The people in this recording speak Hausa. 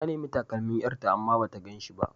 Ta nemi takalmin ƴarta amma bata gan shi ba.